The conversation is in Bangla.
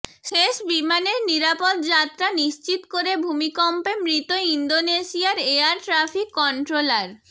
শেষ বিমানের নিরাপদ যাত্রা নিশ্চিত করে ভূমিকম্পে মৃত ইন্দোনেশিয়ার এয়ার ট্রাফিক কন্ট্রোলার